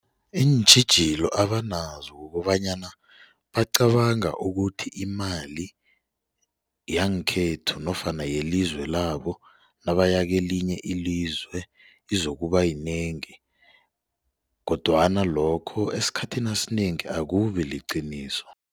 Iintjhijilo abanazo kukobanyana bacabanga ukuthi imali yangekhethu nofana yelizwe labo nabaya kelinye ilizwe izokuba yinengi kodwana lokho esikhathini esinengi akubi liqiniso.